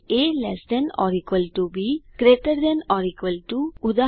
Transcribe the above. A lt B greater than or equal ટુ160 ઉદા